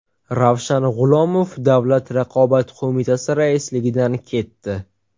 Ravshan G‘ulomov Davlat raqobat qo‘mitasi raisligidan ketdi.